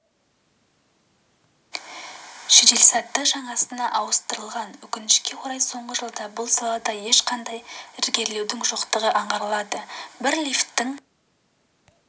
жеделсаты жаңасына ауыстырылған өкінішке орай соңғы жылда бұл салада ешқандай ілгерілеудің жоқтығы аңғарылады бір лифттің